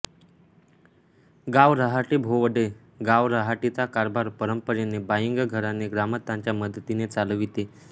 गाव रहाटी भोवडे गावरहाटीचा कारभार परंपरेने बाईंग घराणे ग्रामस्थांच्या मदतीने चालविते